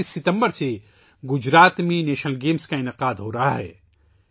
گجرات میں 29 ستمبر سے قومی کھیلوں کا انعقاد کیا جا رہا ہے